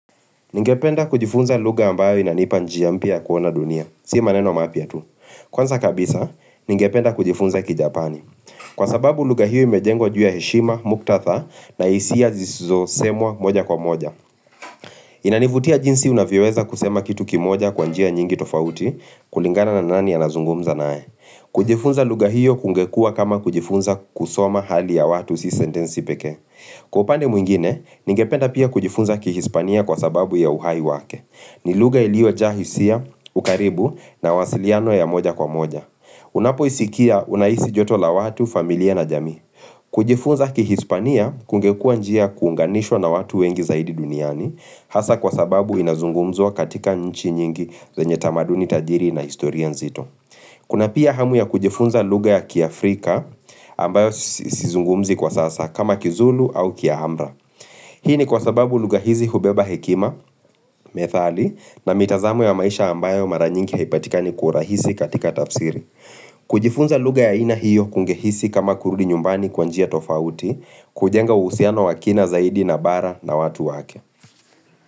Ningependa kujifunza lugha ambayo inanipa njia mpya ya kuona dunia, si maneno mapya tu. Kwanza kabisa, ningependa kujifunza kijapani. Kwa sababu lugha hiyo imejengwa juu ya heshima, muktadha na hisia zisizosemwa moja kwa moja. Inanivutia jinsi unavyoweza kusema kitu kimoja kwa njia nyingi tofauti kulingana na nani anazungumza naye. Kujifunza lugha hiyo kungekua kama kujifunza kusoma hali ya watu si sentenzi pekee. Kwa upande mwingine, ningependa pia kujifunza kihispania kwa sababu ya uhai wake. Ni lugha iliyojaa hisia, ukaribu na mawasiliano ya moja kwa moja Unapoisikia unahisi joto la watu, familia na jamii kujifunza kiHispania kungekua njia kuunganishwa na watu wengi zaidi duniani Hasa kwa sababu inazungumzwa katika nchi nyingi zenye tamaduni tajiri na historia nzito Kuna pia hamu ya kujifunza lugha ya kiafrika ambayo sizungumzi kwa sasa kama kizulu au kia Amra Hii ni kwa sababu lugha hizi hubeba hekima, methali na mitazamo ya maisha ambayo mara nyingi haipatikani kwa urahisi katika tafsiri. Kujifunza lugha ya aina hiyo kungehisi kama kurudi nyumbani kwa njia tofauti, kujenga uhusiano wa kina zaidi na bara na watu wake.